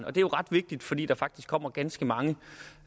er jo ret vigtigt fordi der faktisk kommer ganske mange